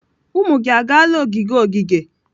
Ụmụ gị agaala ogige ogige?